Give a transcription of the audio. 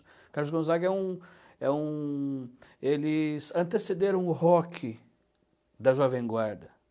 Carlos Gonzaga é um, é um... Eles antecederam o rock da Jovem Guarda.